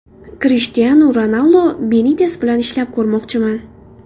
Krishtianu Ronaldu: Benites bilan ishlab ko‘rmoqchiman.